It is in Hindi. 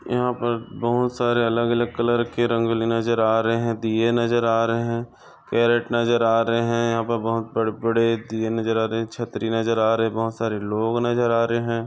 यहाँ पर बहुत सारे अलग अलग कलर के रंगोली नज़र आ रहे है दिए नज़र आ रहे है। कैरट नज़र आ रहे यहा पर बहुत बड़े बड़े दिए नज़र आ रहे छत्री नज़र आ रहे बहुत सारे लोग नज़र आ रहे है।